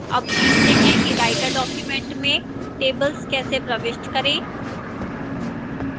अब सीखते हैं कि writer document में tables कैसे प्रविष्ट करें